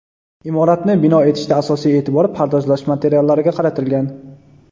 Imoratni bino etishda asosiy e’tibor pardozlash materiallariga qaratilgan.